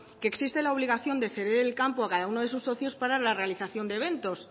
que existe la obligación de ceder el campo a cada uno de sus socios para la realización de eventos